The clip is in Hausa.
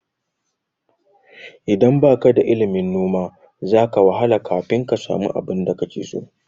Idan baka da ilimin noma, za ka wahala kafin ka samu abinda kake so.